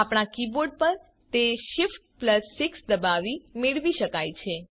આપણા કીબોર્ડ પર તે shift6 દબાવી મેળવી શકાય છે